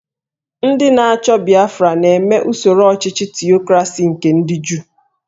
Ndị na-achọ Biafra na-eme usoro ọchịchị Tiokrasi nke ndị Juu